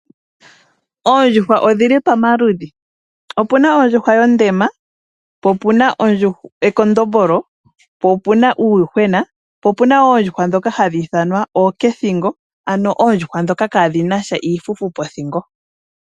Oondjuhwa odhili pamaludhi, opuna ondjuhwa yondema ,po opuna ekondombolo, po opuna uuyuhwena opuna woo oondjuhwa ndhoka hadhiithanwa oonakathingo ano oondjuhwa ndhoka kaadhinasha omafufu pothingo.